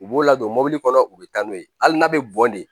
U b'o ladon mɔ u bɛ taa n'o ye hali n'a bɛ bɔn de